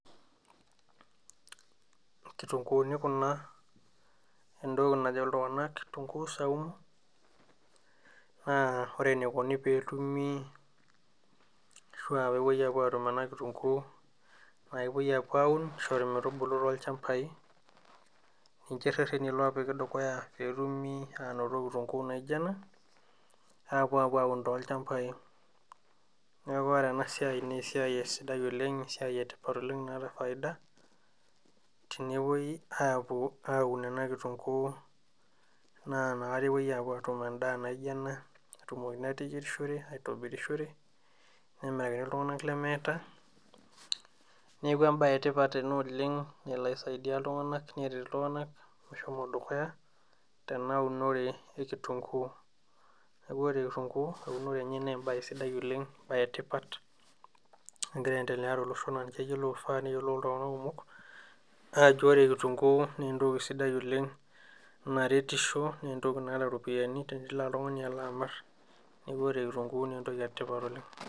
Inkituunguni kuna entoki najo iltunganak kitunguu saumu. Naa ore eneikoni peetumi ashu aa peepoi atum ena kitunguu naa kepoi apuo aaun ometubulu tol'chamba, ninje irereni oopiki dukuya peetumi aanoto kitunguu naijo ena, apuo apuo aaun tol'chambai. Neeku ore ena siai naa esiai sidai oleng' esiai etipat oleng' naata faida, tenepoi apuo aaun ena kitunguu naa nakata epoi atum endaa naijo ena, netumokini ateyiorishore, aitobirishore, nemiraki iltunganak lemeeta. Neeku embae etipata ena oleng' nalo aisaidia iltunganak neret iltunganak meshomo dukuya nena unore ekitunguu. Neeku ore kitunguu eunore enye naa embae sidai oleng' embae etipat, nagira aendelea tolosho naa kifaa neyiolou oltungani kumok ajo ore kitunguu naaentoki sidai oleng' naretisho naa entoki naata iropiyiani tenelo oltungani alo amir. Neeku ore kitunguu naa entoki etipat oleng'.